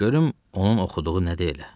Görüm onun oxuduğu nədir elə.